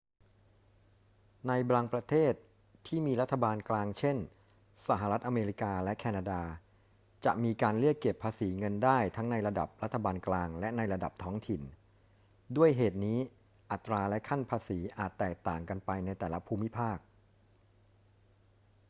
ในบางประเทศที่มีรัฐบาลกลาง เช่น สหรัฐอเมริกา และแคนาดา จะมีการเรียกเก็บภาษีเงินได้ทั้งในระดับรัฐบาลกลางและในระดับท้องถิ่น ด้วยเหตุนี้ อัตราและขั้นภาษีอาจแตกต่างกันไปในแต่ละภูมิภาค